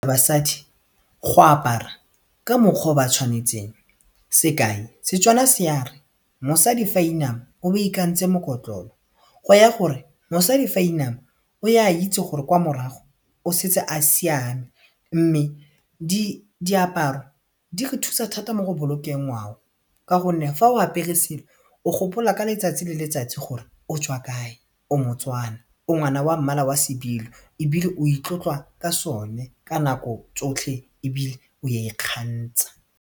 Basadi go apara ka mokgwa o ba tshwanetseng sekai seTswana se a re mosadi fa a inama o ba ikantse mokotlolo go raya gore mosadi fa inama o a itse gore kwa morago o setse a siame mme diaparo di re thusa thata mo go bolokeng ngwao ka gonne fa o apere selo o gopola ka letsatsi le letsatsi gore o tswa kae o moTswana o ngwana wa mmala wa sebilo ebile o itlotla ka sone ka nako tsotlhe ebile o a ikgantsha.